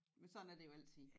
Men sådan er det jo altid